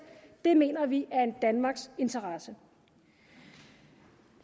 mener vi er i danmarks interesse